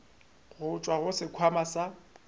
go tšwa go sekhwama sa